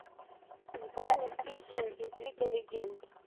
сборник песен из лига легенд